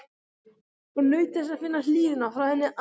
Og naut þess að finna hlýjuna frá henni allri.